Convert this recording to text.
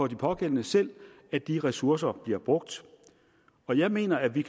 de pågældende selv at de ressourcer bliver brugt og jeg mener at vi